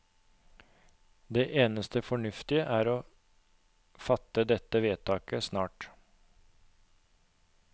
Det eneste fornuftige er å fatte dette vedtaket snart.